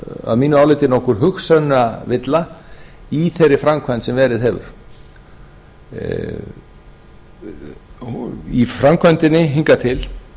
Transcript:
að mínu viti nokkur hugsunarvilla í þeirri framkvæmd sem verið hefur í framkvæmdinni hingað til